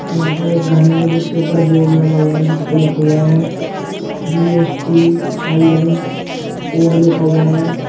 यहां पर एक घर है जिसके ऊपर बोर्ड लगा हुआ है जिसपे लिखा हुआ है जी_एस_टी_आई_एन कोड लिखा हुआ है।